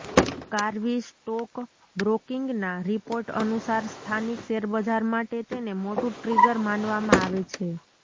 Karvy stock બ્રોકિંગના report અનુસાર સ્થાનિક શેર બજાર માટે તેને મોટુ ટ્રિગર માનવામાં આવે છે